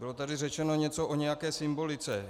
Bylo tady řečeno něco o nějaké symbolice.